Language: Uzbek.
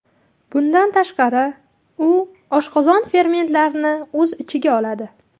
Bundan tashqari, u oshqozon fermentlarini o‘z ichiga oladi.